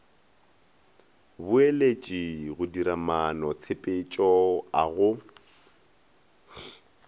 boeletši go diramaanotshepetšo a go